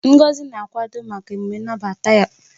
Ngozi na-akwado maka emume nnabata ya.